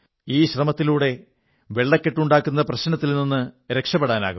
ഈ ശ്രമത്തിലൂടെ വെള്ളക്കെട്ടുണ്ടാകുന്ന പ്രശ്നത്തിൽ നിന്ന് രക്ഷപ്പെടാനാകും